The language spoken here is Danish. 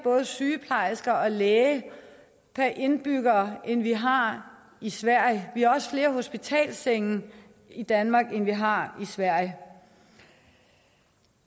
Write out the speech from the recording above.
sygeplejersker og læger per indbygger end de har i sverige vi har også flere hospitalssenge i danmark end de har i sverige